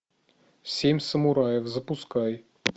семь самураев запускай